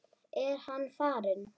Er hann farinn?